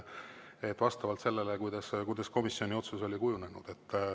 Seda vastavalt sellele, kuidas komisjoni otsus oli kujunenud.